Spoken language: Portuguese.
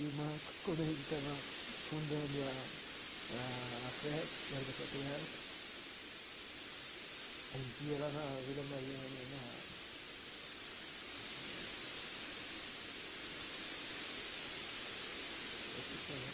E o Marcos, quando a gente estava fundando a a AFPESP, que era da Patriarca, a gente ia lá na Vila Mariana, na... Como é que era o nome? Eu esqueci o nome.